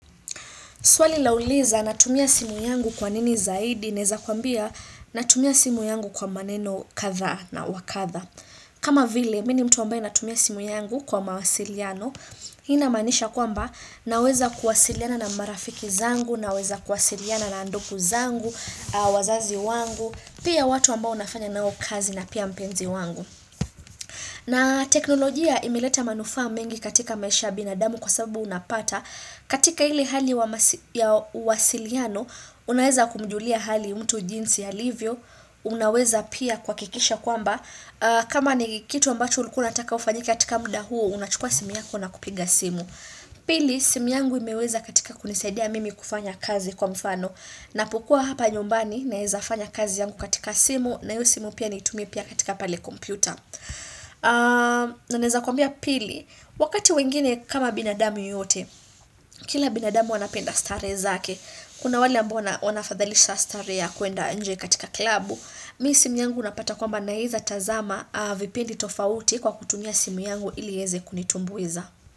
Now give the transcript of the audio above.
Swali lauliza natumia simu yangu kwa nini zaidi, neza kwambia natumia simu yangu kwa maneno katha na wakatha. Kama vile, mimi ni mtu wambae natumia simu yangu kwa mawasiliano, inamanisha kwamba naweza kuwasiliana na marafiki zangu, naweza kuwasiliana na ndoku zangu, wazazi wangu, pia watu ambao nafanya nao kazi na pia mpenzi wangu. Na teknolojia imileta manufaa mengi katika maisha ya binadamu kwa sababu unapata, katika hili hali ya wasiliano Unaweza kumjulia hali mtu jinsi alivyo Unaweza pia kwakikisha kwamba kama ni kitu ambacho ulkuwa unataka ufanyike katika muda huo Unachukua simu yako na kupiga simu Pili simu yangu imeweza katika kunisaidia mimi kufanya kazi kwa mfano na pokua hapa nyombani naheza fanya kazi yangu katika simu na yu simu pia nitumi pia katika pale kompyuta Naneza kwambia pili Wakati wengine kama binadamu yoyote Kila binadamu wanapenda stare zake, kuna wale ambao wanafadhalisha stare ya kuenda nje katika klabu. Mi simu yangu unapata kwamba naiza tazama a vipendi tofauti kwa kutumia simu yangu ili eze kunitumbuiza.